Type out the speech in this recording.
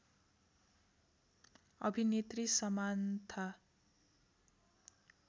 अभिनेत्री समान्था